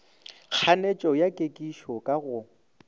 kganetšo ya kekišo ka go